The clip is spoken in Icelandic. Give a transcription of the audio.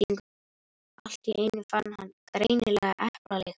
Allt í einu fann hann greinilega eplalykt.